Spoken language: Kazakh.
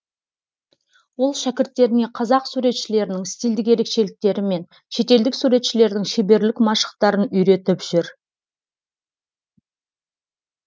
ол шәкірттеріне қазақ суретшілерінің стильдік ерекшеліктері мен шетелдік суретшілердің шеберлік машықтарын үйретіп жүр